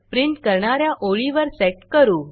print करणा या ओळीवर सेट करू